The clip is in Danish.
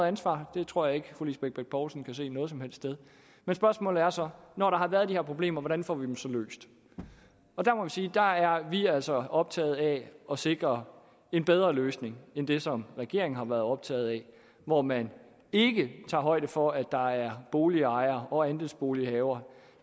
ansvar det tror jeg ikke fru lisbeth bech poulsen kan se noget som helst sted men spørgsmålet er så når der har været de her problemer hvordan får vi dem så løst og der må vi sige at der er vi altså optaget af at sikre en bedre løsning end det som regeringen har været optaget af hvor man ikke tager højde for at der er boligejere og andelsbolighavere